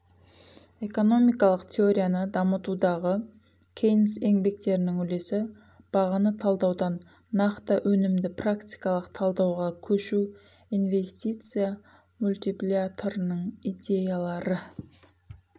экономикалық теорияны дамытудағы кейнс еңбектерінің үлесі бағаны талдаудан нақты өнімді практикалық талдауға көшу инвенстиция мультиплиаторының идеялары